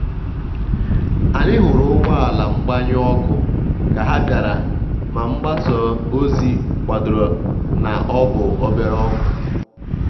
anyị hụrụ ụgbọ ala mgbanyụ ọkụ ka ha bịara ma mgbasa ozi kwadoro na ọ bụ obere ọkụ.